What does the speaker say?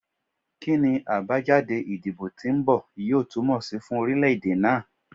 Kini abajade idibo ti nbọ yoo tumọ si fun orilẹ-ede naa?